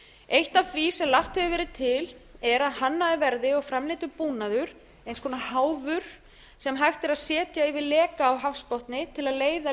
eitt af því sem lagt hefur verið til að hannaður verði og framleiddur búnaður eins konar háfur sem hægt er að setja yfir leka á hafsbotni til að leiða